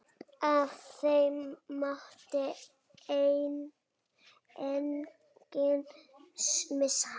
Af þeim mátti enginn missa.